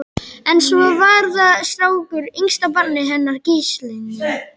En svo var það strákurinn, yngsta barnið hennar Gíslínu.